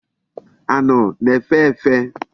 Anu na-efe efe.